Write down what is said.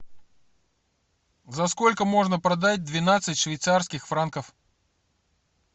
за сколько можно продать двенадцать швейцарских франков